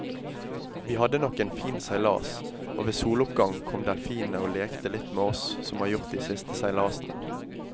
Vi hadde nok en fin seilas, og ved soloppgang kom delfinene og lekte litt med oss som de har gjort de siste seilasene.